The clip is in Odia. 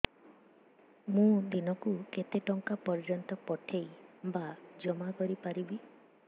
ମୁ ଦିନକୁ କେତେ ଟଙ୍କା ପର୍ଯ୍ୟନ୍ତ ପଠେଇ ବା ଜମା କରି ପାରିବି